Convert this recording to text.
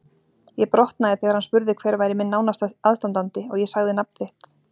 Ég brotnaði þegar hann spurði hver væri minn nánasti aðstandandi og ég sagði nafn þitt.